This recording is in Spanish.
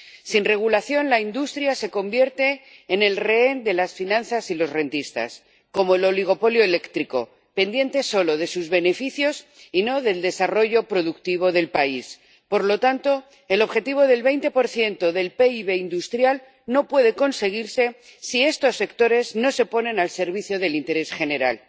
Sin regulación, la industria se convierte en el rehén de las finanzas y los rentistas, como el oligopolio eléctrico, pendiente solo de sus beneficios y no del desarrollo productivo del país. Por lo tanto, el objetivo del 20 del PIB industrial no puede conseguirse si estos sectores no se ponen al servicio del interés general.